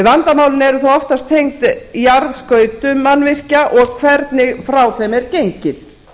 vandamálin eru þó oftast tengd jarðskautum mannvirkja og hvernig frá þeim er gengið